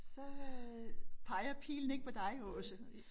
Så øh peger pilen ikke på dig Aase